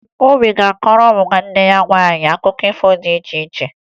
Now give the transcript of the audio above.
Obi ga-akọọrọ nwanne ya nwaanyị akụkọ ifo dị iche iche